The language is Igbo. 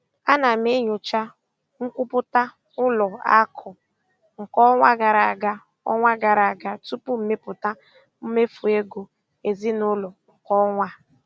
Ana m enyocha nkwupụta ụlọ akụ nke ọnwa gara aga ọnwa gara aga tupu ịmepụta mmefu ego ezinụlọ nke ọnwa a.